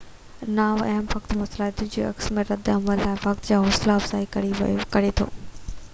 نا هم وقت مواصلات ٻين لاءِ عڪس ۽ رد عمل لاءِ وقت جي حوصلا افزائي ڪري ٿو